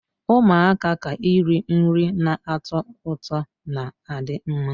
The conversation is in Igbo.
Ụmụaka ka iri nri na-atọ ụtọ na adị mma.